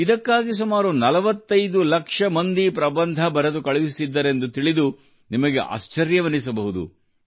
ಇದಕ್ಕಾಗಿ ಸುಮಾರು 45 ಲಕ್ಷ ಮಂದಿ ಪ್ರಬಂಧ ಬರೆದು ಕಳುಹಿಸಿದ್ದರೆಂದು ತಿಳಿದು ನಿಮಗೆ ಆಶ್ಚರ್ಯವೆನಿಸಬಹುದು